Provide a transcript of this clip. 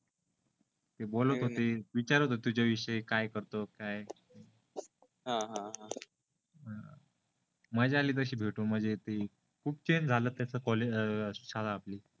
ते बोलत होते विचारात होते तुज्या विषयी काय करतो काय हा हा हा मजा आली तसी भेटून म्हणजे ते खूप चेंज झाल तस कॉलेजतस शाळा आपली अ अ